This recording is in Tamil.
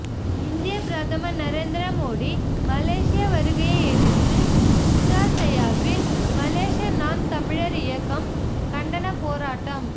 இந்திய பிரதமர் நரேந்திர மோடி மலேசிய வருகையை எதிர்த்து புத்ரா செயாவில் மலேசிய நாம் தமிழர் இயக்கம் கண்டன போராட்டம்